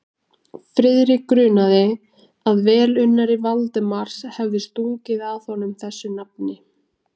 Friðrik grunaði, að velunnari Valdimars hefði stungið að honum þessu nafni.